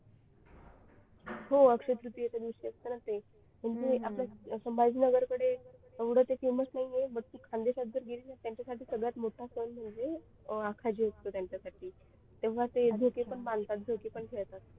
हो अक्षय तृतीयेच्या दिवशी असते ना ते म्हणजे आपल्या समाधी नगर कडे एवढे ते famous नाही आहे but तू खानदेशात जर केली ना तर त्यांच्यासाठी तो सगळ्यात मोठा सण म्हणजे तो आखाजी असतो त्यांच्यासाठी तेव्हा ते झोके पण बांधतात आणि खेळतात